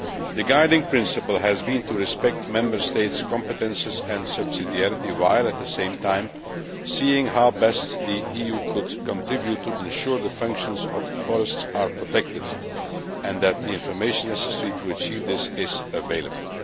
The guiding principle has been to respect Member States' competences and subsidiarity while, at the same time, seeing how best the EU could contribute to ensuring that the functions of forests are protected and that the information necessary to achieve this is available.